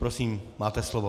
Prosím, máte slovo.